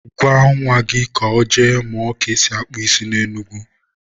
Gwa nwa gị ka ọ jee mụọ ka esi akpụ isi na Enugu.